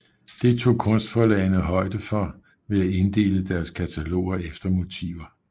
Det tog kunstforlagene højde for ved at inddele deres kataloger efter motiver